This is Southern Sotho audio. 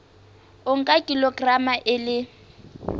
o nka kilograma e le